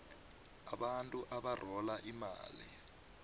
abantu abarhola imali